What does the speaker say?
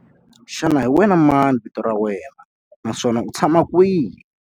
Xana hi wena mani vito ra wena naswona u tshama kwihi?